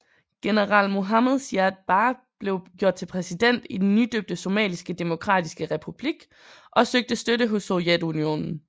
General Mohamed Siad Barre blev gjort til præsident i den nydøbte Somaliske demokratiske republik og søgte støtte hos Sovjetunionen